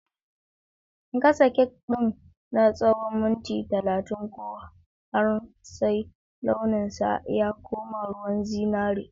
Gasa cake din na tsawon minti 30 ko har sai launinsa ya koma ruwan zinari.